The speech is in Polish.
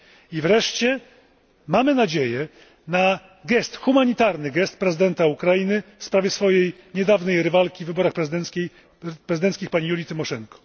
I wreszcie mamy nadzieję na gest, humanitarny gest, prezydenta Ukrainy w sprawie swojej niedawnej rywalki w wyborach prezydenckich, pani Julii Tymoszenko.